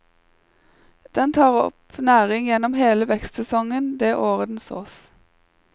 Den tar opp næring gjennom hele vekstsesongen det året den sås.